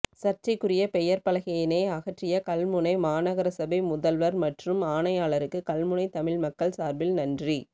சர்ச்சைக்குரிய பெயர்ப்பலகையினை அகற்றிய கல்முனை மாநகர சபை முதல்வர் மற்றும் ஆணையாளருக்கு கல்முனை தமிழ் மக்கள் சார்பில் நன்றி